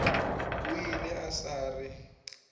o ile a sa re